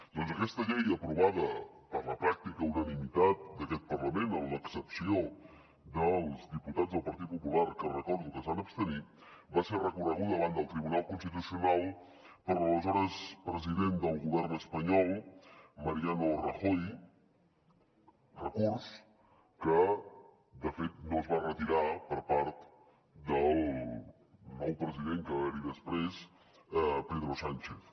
doncs aquesta llei aprovada per la pràctica unanimitat d’aquest parlament amb l’excepció dels diputats del partit popular que recordo que es van abstenir va ser recorreguda davant del tribunal constitucional per l’aleshores president del govern espanyol mariano rajoy recurs que de fet no es va retirar per part del nou president que va haver hi després pedro sánchez